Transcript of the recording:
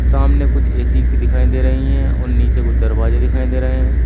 सामने कुछ ए_सी की दिखाई दे रही है और नीचे कुछ दरवाजे दिखाई दे रहे--